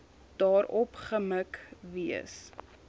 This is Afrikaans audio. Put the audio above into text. daarop gemik wees